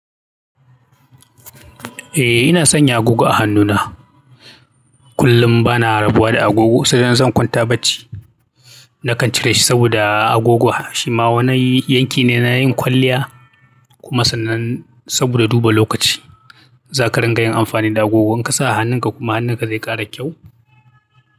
Eh ina sanya agogo a hannuna. Kullum bana rabuwa da agogo saboda zan kwanta bacci. Nakan cire shi saboda agogo harshi ma wani yanki ne na yin kwalliya kuma sannan saboda duba lokaci. Za ka riƙa yin amfani da agogo in ka sa a hannunka kuma hannunka zai ƙara kyau.